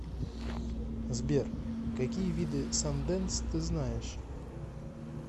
сбер какие виды санденс ты знаешь